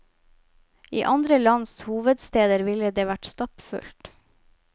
I andre lands hovedsteder ville det vært stappfullt.